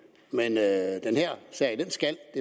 men at den her sag skal